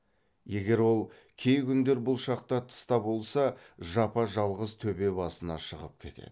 егер ол кей күндер бұл шақта тыста болса жапа жалғыз төбе басына шығып кетеді